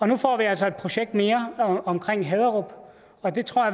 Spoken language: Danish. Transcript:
nu får vi altså et projekt mere omkring haderup og det tror